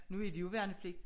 Nu er de jo i værnepligt